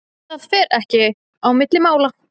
Það fer ekki á milli mála.